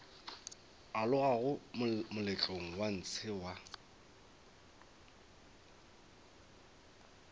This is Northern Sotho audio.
alogago moletlong wa ntshe wa